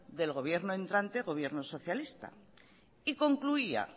del gobierno entrante gobierno socialista y concluía